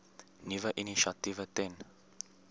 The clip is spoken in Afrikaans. nuwe initiatiewe ten